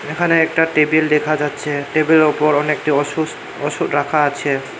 এখানে একটা টেবিল দেখা যাচ্ছে টেবিল -এর ওপর অনেকটি ওষুস্থ ওষুধ রাখা আছে।